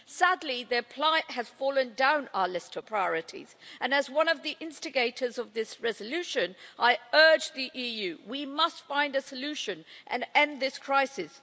Sadly their plight has fallen down our list of priorities, and, as one of the instigators of this resolution, I urge the EU we must find a solution and end this crisis.